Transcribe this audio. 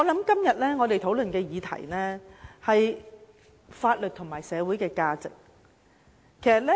今天我們討論的議題是法律和社會價值觀。